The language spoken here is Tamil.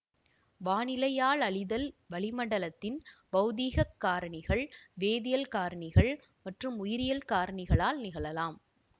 வானிலையாலழிதல் வளிமண்டலத்தின் பௌதீகக் காரணிகள் வேதியியல் காரணிகள் மற்றும் உயிரியல் காரணிகளால் நிகழலாம்